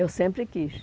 Eu sempre quis.